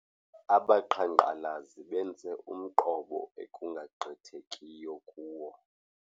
Abaqhankqalazi benze umqobo ekungagqithekiyo kuwo.